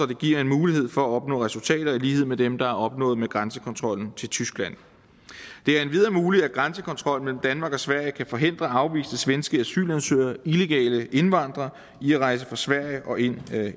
det giver mulighed for at opnå resultater i lighed med dem der er opnået med grænsekontrollen til tyskland det er endvidere muligt at grænsekontrollen mellem danmark og sverige kan forhindre afviste svenske asylansøgere illegale indvandrere i at rejse fra sverige og ind